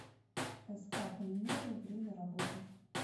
ск полимеры время работы